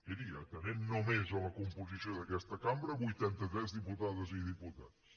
miri atenent només la composició d’aquesta cambra vuitantatres diputades i diputats